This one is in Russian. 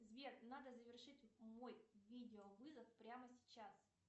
сбер надо завершить мой видеовызов прямо сейчас